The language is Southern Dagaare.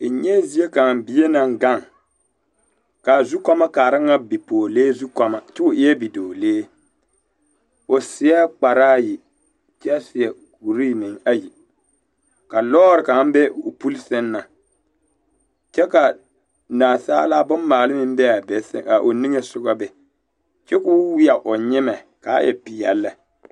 N nyɛɛ zie kaŋ bie naŋ gaŋ kaa zukɔɔmɔ kaara nyɛ bipɔɔlee zukɔmɔ kyɛ o eɛɛ bidɔɔlee o seɛ kparaa yi kyɛ seɛ kuree meŋ ayi ka lɔre kaŋ be o puli sɛŋ na kyɛ ka naasaalaa bommaale meŋ be a be a o niŋesɔgɔ be kyɛ ka o weɛ o nyimɛ kaa e peɛl lɛ.